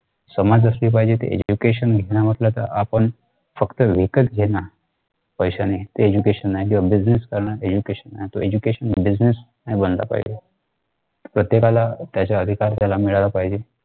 समज असली पाहिजे. ते education घेतल्या मागल्याचा आपला फक्त विकत घेणे पैशाने ते education नाही किंवा business करणे नाही. तो education business नाही बनला पाहिजे. प्रत्येकाला त्याचा अधिकार त्याला मिळाला पाहिजे.